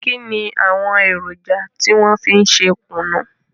Kínni àwọn èròjà tí wọn fi ń ṣe kùnú?